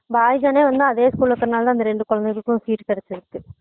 voice அன்னே இன்னும் அதே school ல இருக்குற நாலா தான் அந்த ரெண்டு குழந்தைகளுக்கும் seat கிடச்சுருக்கு